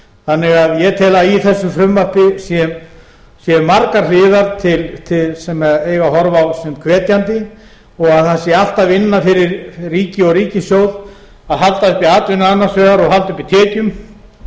þannig að ég tel að í þessu frumvarpi séu margar hliðar sem eigi að horfa á sem hvetjandi og að það sé allt að vinna fyrir ríki og ríkissjóð að halda uppi atvinnu annars vegar og halda